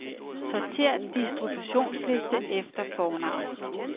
Sortér distributionsliste efter fornavn.